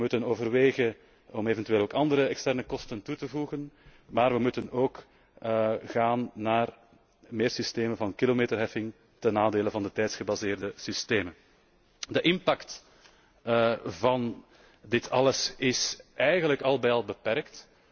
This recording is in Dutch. We moeten overwegen om eventueel ook andere externe kosten toe te voegen, maar we moeten ook gaan naar meer systemen van kilometerheffing ten nadele van de op tijd gebaseerde systemen. De impact van dit alles is eigenlijk al bij al beperkt.